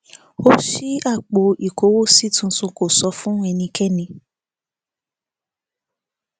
ó ṣí apò ìkówósí tuntun kó sọ fún ẹnikẹni